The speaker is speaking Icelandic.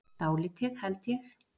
Dálítið, held ég.